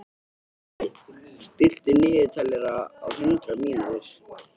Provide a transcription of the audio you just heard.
Kaj, stilltu niðurteljara á hundrað mínútur.